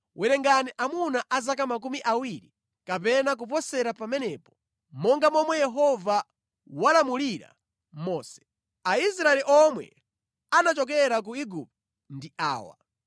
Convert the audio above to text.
“Werengani amuna a zaka makumi awiri kapena kuposera pamenepo, monga momwe Yehova walamulira Mose.” Aisraeli omwe anachokera ku Igupto ndi awa: